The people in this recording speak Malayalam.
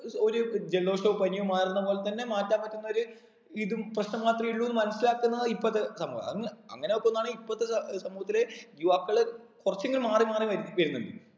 ഒര് ജലദോഷവും പനിയും മാറുന്ന പോലെത്തന്നെ മാറ്റാൻ പറ്റുന്നൊരു ഇതും പ്രശ്നം മാത്രേയുള്ളു മനസ്സിലാക്കുന്ന ഇപ്പത്തെ സമൂഹം അങ് അങ്ങനെ നോക്കുന്നണേൽ ഇപ്പത്തെ സ ഏർ സമൂഹത്തില് യുവാക്കള്‍ കുറച്ചെങ്കിലും മാറി മാറി വരുന്നുണ്ട്